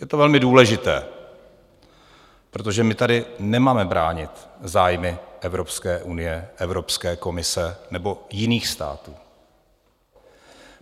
Je to velmi důležité, protože my tady nemáme bránit zájmy Evropské unie, Evropské komise nebo jiných států.